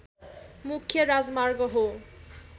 मुख्य राजमार्ग हो